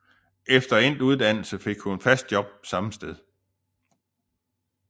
Efter endt uddannelse fik hun fast job samme sted